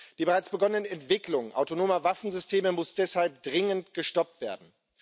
Die bereits begonnene Entwicklung autonomer Waffensysteme muss deshalb dringend gestoppt werden.